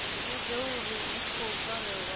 vhudze uri u khou farelwa